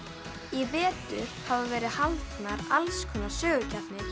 í vetur hafa verið haldnar alls konar sögusamkeppnir